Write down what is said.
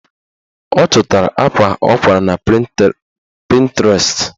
Ọ chọtara akwa ọ kwara na Pịntrest